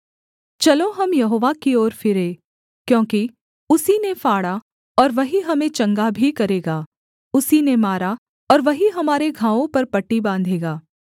चलो हम यहोवा की ओर फिरें क्योंकि उसी ने फाड़ा और वही हमें चंगा भी करेगा उसी ने मारा और वही हमारे घावों पर पट्टी बाँधेगा